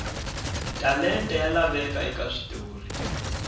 talenta ya laveka eka switori